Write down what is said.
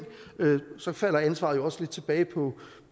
så falder ansvaret jo også lidt tilbage